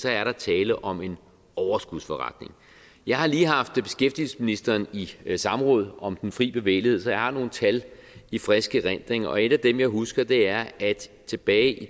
er der tale om en overskudsforretning jeg har lige haft beskæftigelsesministeren i samråd om den fri bevægelighed så jeg har nogle tal i frisk erindring og et af dem jeg husker er at tilbage i